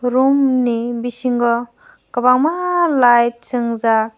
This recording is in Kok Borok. room ni bisingo kwbangma light sungjaak.